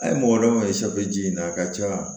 A ye mɔgɔ dɔ ye ji in na a ka ca